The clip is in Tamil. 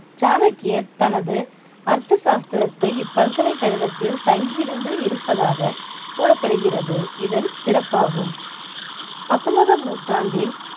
சாணக்கியர் தனது அர்த்தசாஸ்திரத்தை இப்பல்கலைக்கழகத்தில் தங்கி இருந்து இருப்பதாக கூறப்படுகிறது இதன் சிறப்பாகும் பத்தொன்பதாம் நூற்றாண்டில்